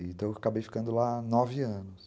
Então eu acabei ficando lá nove anos.